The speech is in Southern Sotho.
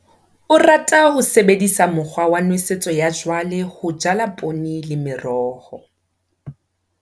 O rata ho sebedisa mokgwa wa nosetso ya jwale ho jala poone le meroho.